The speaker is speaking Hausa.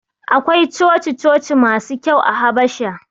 Akwai coci-coci masu kyau a Habasha.